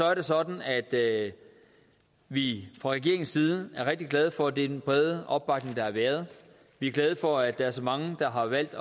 er det sådan at vi fra regeringens side er rigtig glade for at det er den brede opbakning der har været vi er glade for at der er så mange der har valgt